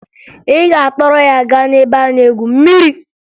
Ị ga-akpọrọ ya gaa n'ebe a na-egwu mmiri!